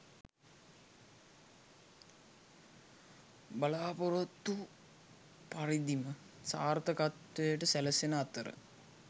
බලාපොරොත්තු පරිදිම සාර්ථකත්වය සැලසෙන අතර